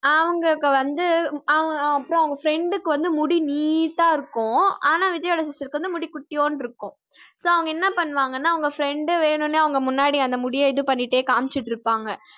அவங்களுக்கு வந்து அஹ் அப்புறம் அவங்க friend க்கு வந்து முடி நீட்டா இருக்கும் ஆனா விஜய்யோட sister க்கு வந்து முடி குட்டியோண்டு இருக்கும். so அவங்க என்ன பண்ணுவாங்கனா அவங்க friend வேணும்னே அவங்க முன்னாடி அந்த முடிய இது பண்ணிட்டே காம்சிட்டுருப்பாங்க